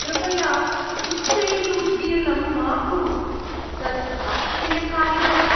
कृपया उच्चैः उद्गिरणं मा कुरु, तत् अप्रियकारि भवति।